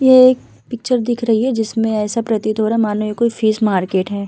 ये एक पिक्चर दिख रही है जिसमे ऐसा प्रतीत हो रहा है मानो ये कोई फिश मार्केट है ।